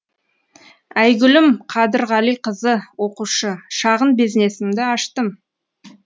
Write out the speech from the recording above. айгүлім қадырғалиқызы оқушы шағын бизнесімді аштым